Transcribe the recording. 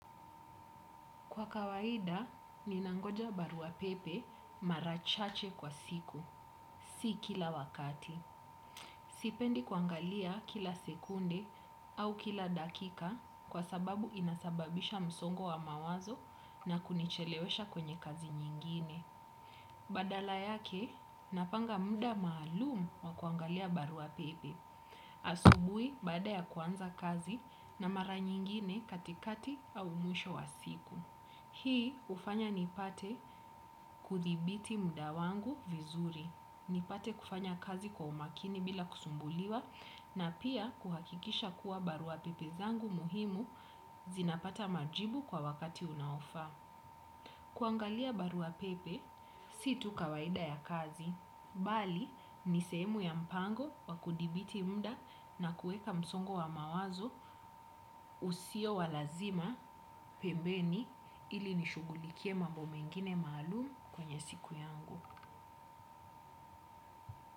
Kwa kawaida, ninangoja barua pepe mara chache kwa siku, si kila wakati. Sipendi kuangalia kila sekunde au kila dakika kwa sababu inasababisha msongo wa mawazo na kunichelewesha kwenye kazi nyingine. Badala yake, napanga muda maalumu wa kuangalia barua pepe. Asubuhi baada ya kuanza kazi na mara nyingine katikati au mwisho wa siku. Hii hufanya nipate kudhibiti muda wangu vizuri nipate kufanya kazi kwa umakini bila kusumbuliwa na pia kuhakikisha kuwa barua pepe zangu muhimu zinapata majibu kwa wakati unaofaa kuangalia barua pepe, si tu kawaida ya kazi, bali ni sehemu ya mpango wa kudhibiti muda na kuweka msongo wa mawazo usio wa lazima pembeni ili nishughulikie mambo mengine maalumu kwenye siku yangu.